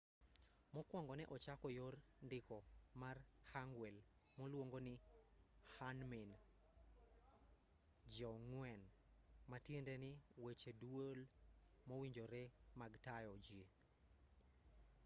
mokuongo ne ochako yor ndiko mar hangeul moluonge ni hunmin jeongeum ma tiendeni weche duol mowinjore mag tayo ji